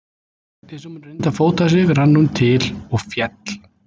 Hvernig sem hún reyndi að fóta sig, rann hún til og féll.